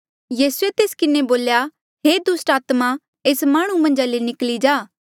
यीसूए तेस किन्हें बोल्या हे दुस्टात्मा एस माह्णुं मन्झा ले निकली जा